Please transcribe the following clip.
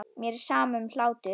Mér er sama um hlátur.